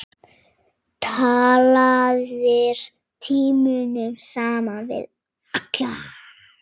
Talaðir tímunum saman við alla.